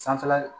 Sanfɛla